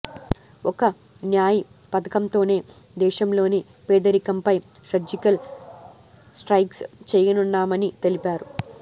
ఒక్క న్యాయ్ పథకంతోనే దేశంలోని పేదరికంపై సర్జికల్ స్ట్రైక్స్ చేయనున్నామని తెలిపారు